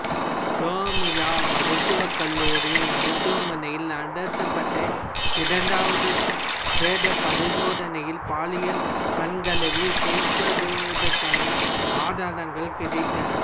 கொமிலா மருத்துவக் கல்லூரி மருத்துவமனையில் நடத்தப்பட்ட இரண்டாவது பிரேத பரிசோதனையில் பாலியல் வன்கலவி செய்யப்பட்டதற்கான ஆதாரங்கள் கிடைத்தன